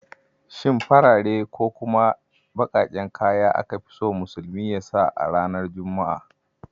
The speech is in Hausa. Shin farare ko kuma bakaken kaya aka fi so musulmi su sanya a ranar juma'a?